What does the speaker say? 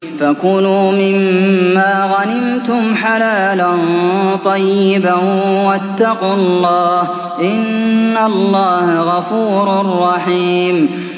فَكُلُوا مِمَّا غَنِمْتُمْ حَلَالًا طَيِّبًا ۚ وَاتَّقُوا اللَّهَ ۚ إِنَّ اللَّهَ غَفُورٌ رَّحِيمٌ